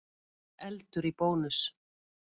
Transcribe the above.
Eldur í Bónus